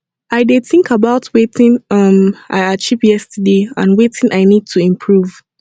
i dey think about wetin um i achieve yesterday and wetin i need to improve